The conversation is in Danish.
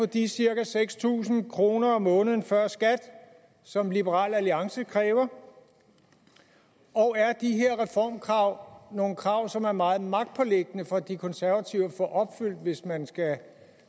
de cirka seks tusind kroner om måneden før skat som liberal alliance kræver og er de her reformkrav nogle krav som er meget magtpåliggende for de konservative at få opfyldt hvis man skal